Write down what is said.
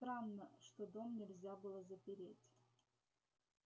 странно что дом нельзя было запереть